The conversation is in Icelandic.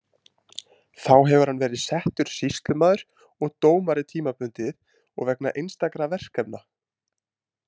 Þá hefur hann verið settur sýslumaður og dómari tímabundið og vegna einstakra verkefna.